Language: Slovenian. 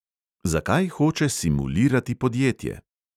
Zakaj hoče simulirati podjetje?